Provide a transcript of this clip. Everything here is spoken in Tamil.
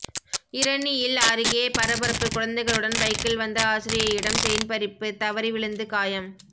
இரணியல் அருகே பரபரப்பு குழந்தைகளுடன் பைக்கில் வந்த ஆசிரியையிடம் செயின் பறிப்பு தவறி விழுந்து காயம்